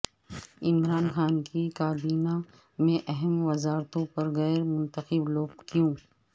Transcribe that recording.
عمران خان کی کابینہ میں اہم وزارتوں پر غیر منتخب لوگ کیوں